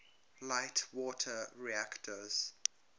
light water reactors